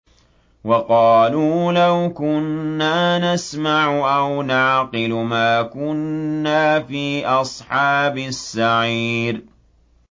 وَقَالُوا لَوْ كُنَّا نَسْمَعُ أَوْ نَعْقِلُ مَا كُنَّا فِي أَصْحَابِ السَّعِيرِ